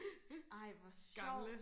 ej hvor sjovt